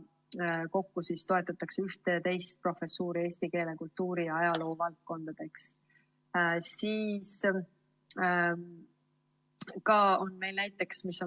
Kokku toetatakse 11 professuuri eesti keele, kultuuri ja ajaloo valdkonnas.